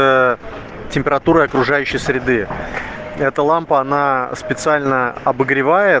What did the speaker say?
э температура окружающей среды это лампа она специально обогревает